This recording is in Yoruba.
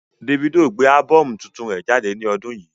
Davido gbé ábọ́ọ̀mù tuntun rẹ jáde ní ọdún yìí.